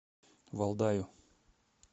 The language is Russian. валдаю